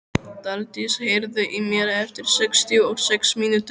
Daldís, heyrðu í mér eftir sextíu og sex mínútur.